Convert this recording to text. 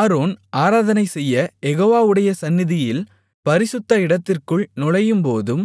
Aaron ஆராதனை செய்யக் யெகோவாவுடைய சந்நிதியில் பரிசுத்த இடத்திற்குள் நுழையும்போதும்